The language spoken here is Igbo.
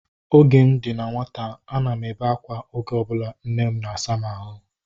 Oge m dị na nwata, a na m ebe akwa oge ọbụla nne m na-asa m ahụ